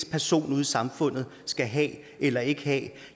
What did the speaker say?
person ude i samfundet skal have eller ikke have